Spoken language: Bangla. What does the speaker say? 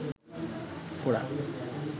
ফোড়া